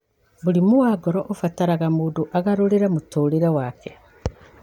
Mũrimũ wa ngoro ũbataraga mũndũ agarũrĩre mũtũũrĩre wake.